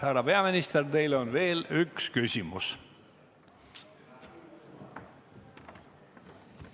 Härra peaminister, teile on veel üks küsimus.